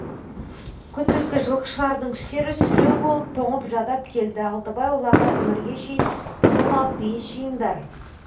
күндізгі жылқышылардың үстері сіреу болып тоңып жадап келді алтыбай оларға іңірге шейін тыным алып ес жиыңдар